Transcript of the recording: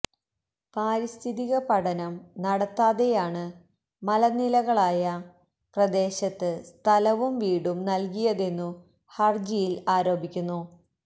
പാരിസ്ഥിതിക പഠനം നടത്താതെയാണ് മലനിലകളായ പ്രദേശത്ത് സ്ഥലവും വീടും നല്കിയതെന്നു ഹരജിയില് ആരോപിക്കുന്നു